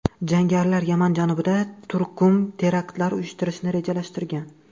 Jangarilar Yaman janubida turkum teraktlar uyushtirishni rejalashtirgan.